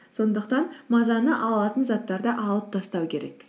сондықтан мазаны ала алатын заттарды алып тастау керек